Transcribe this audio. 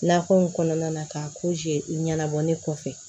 Nakɔ in kɔnɔna na ka ɲɛnabɔ ne kɔfɛ